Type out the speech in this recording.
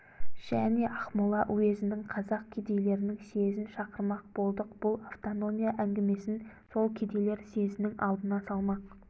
және ақмола уезінің қазақ кедейлерінің съезін шақырмақ болдық бұл автономия әңгімесін сол кедейлер съезінің алдына салмақ